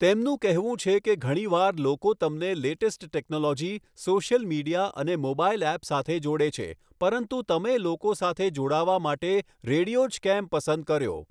તેમનું કહેવું છે કે ઘણી વાર લોકો તમને લેટેસ્ટ ટેક્નોલોજી, સૉશિયલ મિડિયા અને મોબાઇલ ઍપ સાથે જોડે છે, પરંતુ તમે લોકો સાથે જોડાવા માટે રેડિયો જ કેમ પસંદ કર્યો?